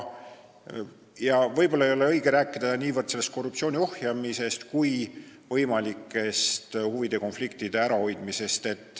Võib-olla ei ole õige rääkida niivõrd korruptsiooni ohjeldamisest, kuivõrd võimalikest huvide konfliktide ärahoidmisest.